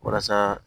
Walasa